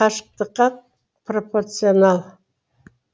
қашықтыққа пропорционал